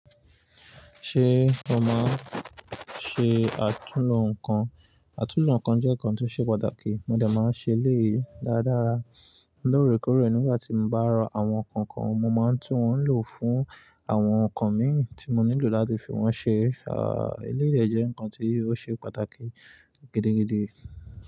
Ṣé o máa n ṣe àtúnlo nǹkan? Àtúnlo nǹkan jẹ́ nǹkan tí ó ṣe pàtàkì, mo dà máa ń ṣe eléyìí dáadára. Lórèkórè nígbà tí mo bá rọ àwọn nǹkan kan, mo máa ń tún wọn lò fún àwọn nǹkan mìíràn tí mo nílò láti fi wọn ṣe. Eléyìí jẹ́ nǹkan tí ó ṣe pàtàkì gidigidi.